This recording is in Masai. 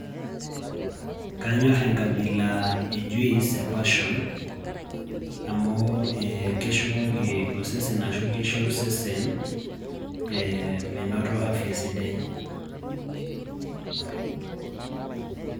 Kanyorr enkabila e juice e passion amu ee keshukoki ashu kisho osesen menoto afya sidai.